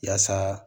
Yaasa